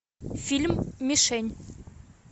фильм мишень